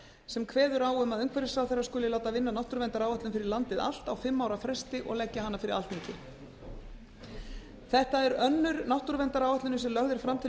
sem kveður á um að umhverfisráðherra skuli láta vinna náttúruverndaráætlun fyrir landið allt á fimm ára fresti og leggja hana fyrir alþingi þetta er önnur náttúruverndaráætlunin sem lögð er fram til